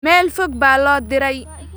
Meel fog baa loo diray